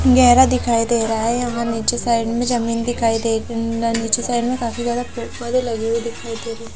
गहरा दिखाई दे रहा है यहां नीचे साइड में जमीन दिखाई दे रही नीचे साइड मे काफी ज्यादा पेड़ पौधे लगे हुए दिखाई दे रहे।